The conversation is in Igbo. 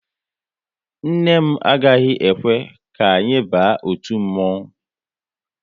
Nne m agaghị ekwe ka anyị ba otu mmonwu